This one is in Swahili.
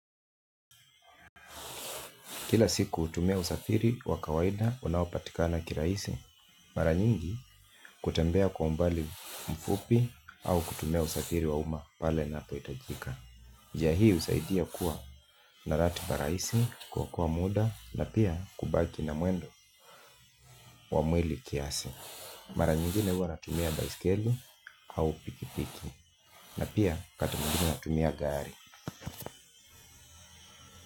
Kila siku hutumia usafiri wa kawaida unaopatikana kiraisi, mara nyingi kutembea kwa umbali mfupi au kutumia usafiri wa umma pale inapohitajika. Njia hii usaidia kuwa na ratiba rahisi kwa kuwa muda na pia kubaki na mwendo wa mwili kiasi. Mara nyingine huwa natumia baiskeli au pikipiki na pia wakati mwingine natumia gari.